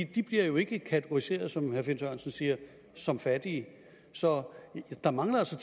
de bliver jo ikke kategoriseret som herre finn sørensen siger som fattige så der mangler altså